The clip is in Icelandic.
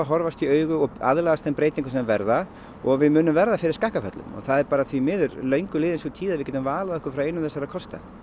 horfast í augu og aðlagast þeim breytingum sem verða og við munum verða fyrir skakkaföllum það er bara því miður löngu liðin sú tíð að við getum valið okkur frá einum þessara kosta